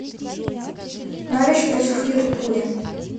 норвич против ливерпуля